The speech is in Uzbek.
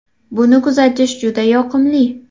Buni kuzatish juda yoqimli!